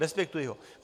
Respektuji ho.